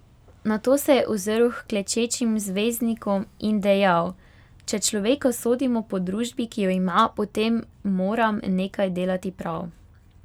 Nato se je ozrl h klečečim zvezdnikom in dejal: 'Če človeka sodimo po družbi, ki jo ima, potem moram nekaj delati prav.